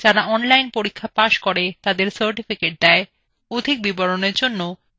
যারা online পরীক্ষা pass করে তাদের certificates দেয়